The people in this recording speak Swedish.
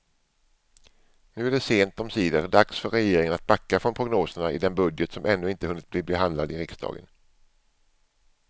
Nu är det sent omsider dags för regeringen att backa från prognoserna i den budget som ännu inte hunnit bli behandlad i riksdagen.